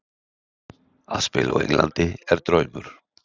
Að spila á Englandi er draumur.